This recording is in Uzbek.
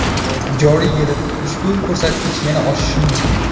Joriy yilda ushbu ko‘rsatkich yana oshishi mumkin.